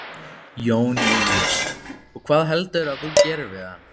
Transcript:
Jón Júlíus: Og hvað heldurðu að þú gerir við hann?